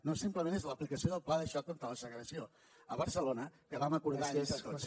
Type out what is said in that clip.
no simplement és l’aplicació del pla de xoc contra la segregació a barcelona que vam acordar entre tots